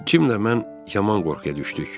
Cim ilə mən yaman qorxuya düşdük.